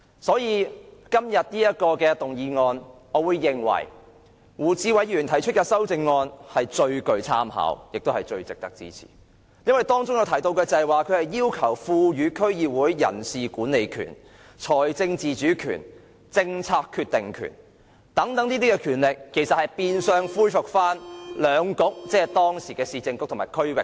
所以，就今天的議案而言，我認為胡志偉議員提出的修正案最具參考性，亦最值得支持，因為修正案要求賦予區議會人事管理權、財政自主權及政策決定權，變相恢復兩局的權力。